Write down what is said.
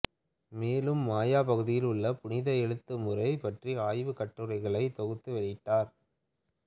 மேலும் மாயா பகுதியில் உள்ள புனித எழுத்துமுறை பற்றிய ஆய்வுக் கட்டுரைகளை தொகுத்து வெளியிட்டார்